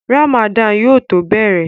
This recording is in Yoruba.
Ràmàdánù yóò tó bẹ̀rẹ̀